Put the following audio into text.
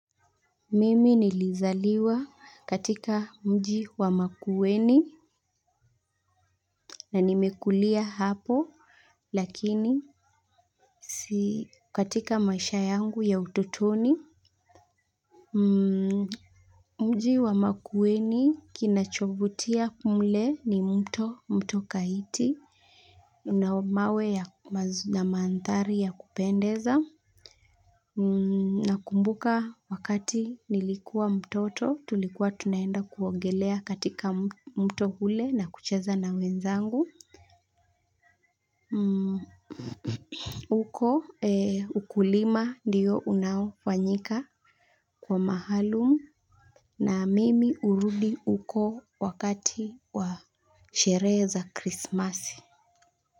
Mimi nilizaliwa katika mji wa makuweni na nimekulia hapo lakini si katika maisha yangu ya utotoni. Mji wa makuweni kinachovutia mle ni mto mto kaiti na mawe na mandhari ya kupendeza. Na kumbuka wakati nilikuwa mtoto tulikuwa tunaenda kuongelea katika mto ule na kucheza na wenzangu. Uko ukulima ndiyo unaofanyika kwa maalumu na mimi hurudi huko wakati wa sherehe za Krismasi.